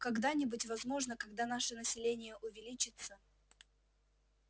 когда-нибудь возможно когда наше население увеличится